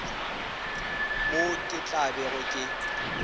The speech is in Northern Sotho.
moo ke tla bego ke